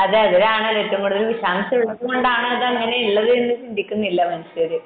അതെ അതിലാണ് ഏറ്റവും കൂടുതൽ വിഷാംശം ഉള്ളത് കൊണ്ടാണ് അങ്ങനെ എന്ന് ചിന്തിക്കുന്നില്ല അവര്